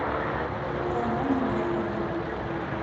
романе маркове